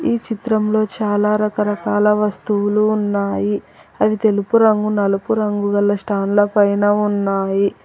ఈ చిత్రంలో చాలా రకరకాల వస్తువులు ఉన్నాయి అవి తెలుపు రంగు నలుపు రంగు గల స్టాండ్ల పైన ఉన్నాయి.